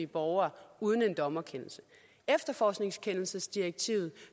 borgere uden en dommerkendelse efterforskningskendelsesdirektivet